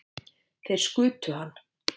Þeir skutu hann